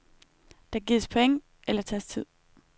Der gives point eller tages tid.